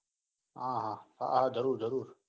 આહ હા હા જરૂર જરૂર.